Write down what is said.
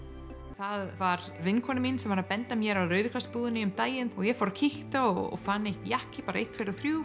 það var vinkona mín sem benti mér á Rauða kross búðina um daginn og ég fór og kíkti og fann einn jakka bara einn tveir og þrír